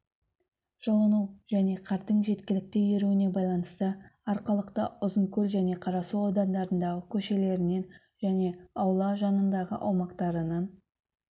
жылыну және қардың жеткілікті еруіне байланысты арқалықта ұзынкөл және қарасу аудандарындағы көшелерінен және аула жанындағы аумақтарынан